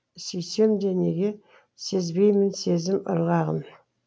сүйсемде неге сезбеймін сезім ырғағын